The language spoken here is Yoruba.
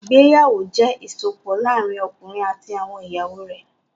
Ìgbéyàwó jẹ́ ìsopọ̀ láàárín ọkùnrin àti àwọn ìyàwó rẹ̀.